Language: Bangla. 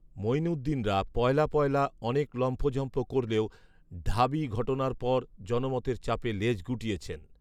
মঈনুদ্দিনরা পয়লা পয়লা অনেক লম্ফঝম্ফ করলেও ঢাবি ঘটনার পর জনমতের চাপে লেজ গুটিয়েছেন